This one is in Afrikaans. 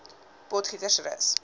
potgietersrus